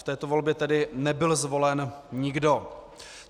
V této volbě tedy nebyl zvolen nikdo.